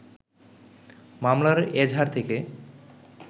মামলার এজাহার থেকে